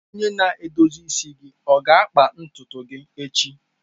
Onye na-edozi isi gị ọ ga-akpa ntutu gị echi?